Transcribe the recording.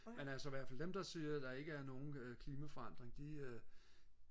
men altså ihvertfald dem der siger at der ikke er nogen klimaforandringer de øh